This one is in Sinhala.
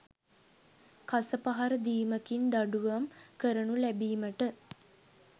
කසපහර දීමකින් දඬුවම් කරනු ලැබීමට